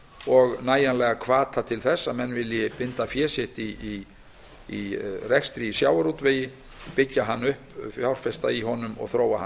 og nægjanlegan hvata til þess að menn vilji binda fé sitt í rekstri í sjávarútvegi byggja hann upp fjárfesta í honum og þróa